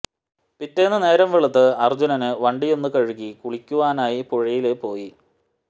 പിറ്റേന്ന് നേരം വെളുത്ത് അര്ജുനന് വണ്ടിയൊന്നു കഴുകി കുളിക്കുവനായി പുഴയില് പോയി